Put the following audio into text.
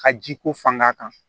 Ka jiko fanga kan